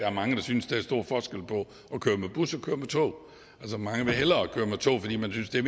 er mange der synes der er stor forskel på at køre med bus og at køre med tog altså mange vil hellere køre med tog fordi man synes det